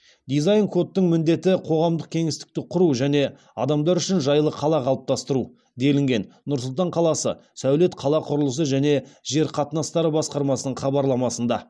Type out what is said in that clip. дизайн кодтың міндеті қоғамдық кеңістікті құру және адамдар үшін жайлы қала қалыптастыру делінген нұр сұлтан қаласы сәулет қала құрылысы және жер қатынастары басқармасының хабарламасында